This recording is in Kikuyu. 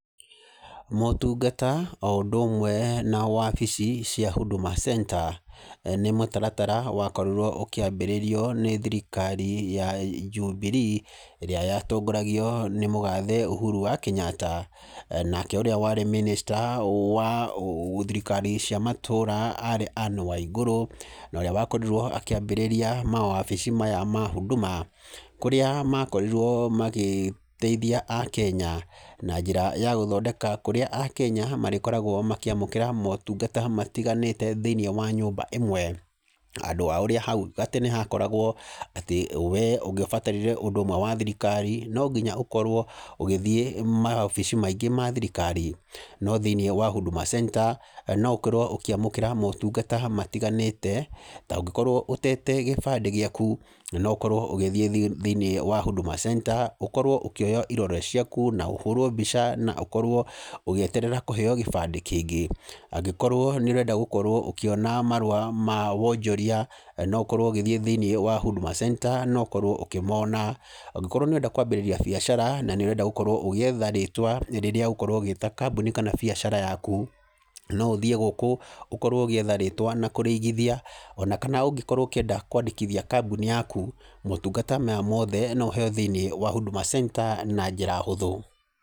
Motungata o ũndũ ũmwe na wabici cia Huduma Center nĩ mũtaratara wakorirwo ũkĩambĩrĩrio nĩ thirikari ya Jubilee ĩrĩa yatongoragio nĩ mũgathe Uhuru wa Kenyatta. Nake ũrĩa warĩ Minister wa thirikari cia matũra arĩ Anne Waigũrũ, na ũrĩa wakorirwo akĩambĩrĩria mawabici maya ma Huduma. Kũrĩa makorirwo magĩteithia akenya na njĩra ya gũthondeka kũrĩa akenya marĩkoragwo makĩamũkĩra motungata matiganĩte thĩiniĩ wa nyũmba ĩmwe. Handũ ha ũrĩa hau kabera hakoragwo atĩ we ũngĩabatarire ũndũ ũmwe wa thirikari no nginya ũkorwo ũgĩthiĩ mawabici maingĩ ma thirikari. No thĩiniĩ wa Huduma Center no ũkorwo ũkĩamũkĩra motungata matiganĩte ta ũngikorwo ũtete gĩbandĩ gĩaku, no ũkorwo ũgĩthiĩ thĩinĩ wa Huduma Center, ũkorwo ũkĩoywo irore ciaku, na ũhũrwo mbica na ũkorwo ũgĩeterera kũheyo gĩbandĩ kĩngĩ. Angĩkorwo nĩ ũrenda gũkorwo ũkĩona marũa ma wonjoria, no ũkorwo ũgĩthiĩ thĩiniĩ wa Huduma Center na ũkorwo ũkĩmona. Angĩkorwo nĩ ũrenda kwambĩrĩria biacara na nĩ ũrenda gũkorwo ũgĩetha rĩtwa rĩrĩa ũgũkorwo ũgĩta kambuni kana biacara yaku, no ũthiĩ gũkũ ũkorwo ũgĩetha rĩtwa na kũrĩigithia. Ona kana ũngĩkorwo ũngĩkĩenda kwandĩkithia kambuni yaku, motungata maya mothe no ũheyo thĩiniĩ wa Huduma Center na njĩra hũthũ.